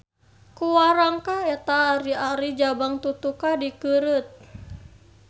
Ku warangka eta ari-ari Jabang Tutuka dikeureut.